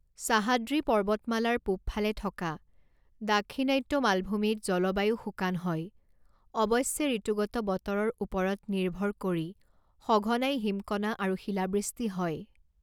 সাহাদ্ৰী পৰ্বতমালাৰ পূবফালে থকা দাক্ষিণাত্য মালভূমিত জলবায়ু শুকান হয়, অৱশ্যে ঋতুগত বতৰৰ ওপৰত নিৰ্ভৰ কৰি সঘনাই হিমকণা আৰু শিলাবৃষ্টি হয়।